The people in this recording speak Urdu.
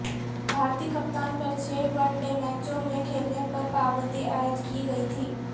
بھارتی کپتان پر چھ ون ڈے میچوں میں کھیلنے پر پابندی عائد کی گئی تھی